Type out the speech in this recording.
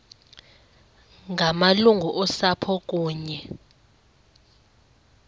ngamalungu osapho kunye